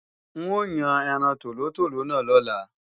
N o yàn ẹran tòlótòló náà lọ́la